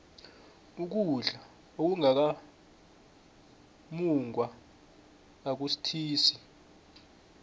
ukudla okungaka mungwa akusuthisi